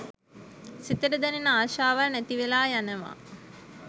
සිතට දැනෙන ආශාවල් නැති වෙලා යනවා.